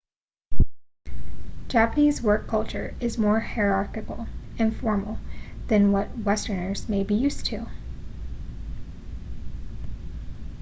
japanese work culture is more hierarchical and formal that what westerners may be used to